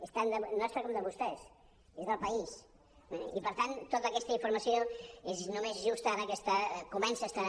és tan nostre com de vostès és del país eh i per tant tota aquesta informació és només just ara que està comença a estar